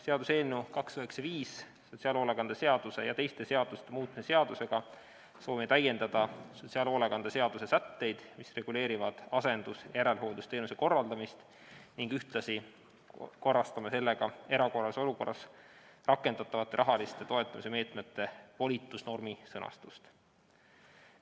Seaduseelnõuga 295, sotsiaalhoolekande seaduse ja teiste seaduste muutmise seadusega soovime täiendada sotsiaalhoolekande seaduse sätteid, mis reguleerivad asendus- ja järelhooldusteenuse korraldamist, ning ühtlasi korrastame sellega erakorralises olukorras rakendatavate rahaliste toetusmeetmete volitusnormi sõnastust.